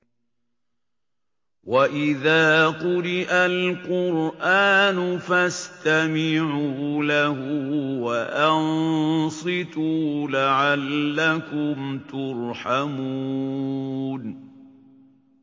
وَإِذَا قُرِئَ الْقُرْآنُ فَاسْتَمِعُوا لَهُ وَأَنصِتُوا لَعَلَّكُمْ تُرْحَمُونَ